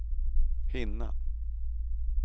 hinna